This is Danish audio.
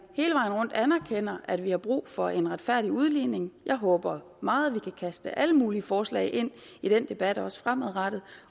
hele vejen rundt anerkender at vi har brug for en retfærdig udligning jeg håber meget at vi kan kaste alle mulige forslag ind i den debat også fremadrettet